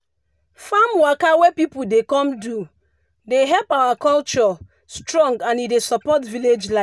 farm waka wey pipu dey come do dey help keep our culture strong and e dey support village life.